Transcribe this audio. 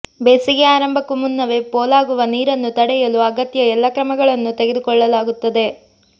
ಬೇಸಿಗೆ ಆರಂಭಕ್ಕೂ ಮುನ್ನವೇ ಪೋಲಾಗುವ ನೀರನ್ನು ತಡೆಯಲು ಅಗತ್ಯ ಎಲ್ಲ ಕ್ರಮಗಳನ್ನು ತೆಗೆದುಕೊಳ್ಳಲಾಗುತ್ತದೆ